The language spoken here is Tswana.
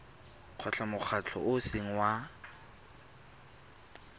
mokgatlho o o seng wa